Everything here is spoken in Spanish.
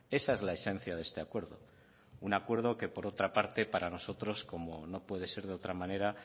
esa es la esencia de este acuerdo un acuerdo que por otra parte para nosotros como no puede ser de otra manera